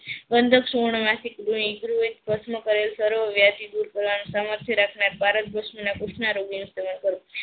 વાંદક સુવર્ણ વાથી પુસ્થ ના રોગી નું સેવન કરવું.